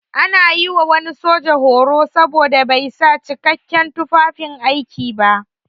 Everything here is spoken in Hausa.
An yi wa wani soja horo saboda bai sa jikakken tufafin aiki ba.